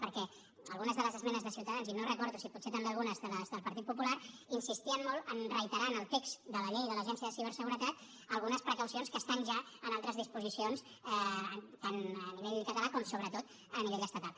perquè algunes de les esmenes de ciutadans i no recordo si potser també algunes de les del partit popular insistien molt a reiterar en el text de la llei de l’agència de ciberseguretat algunes precaucions que estan ja en altres disposicions tant a nivell català com sobretot a nivell estatal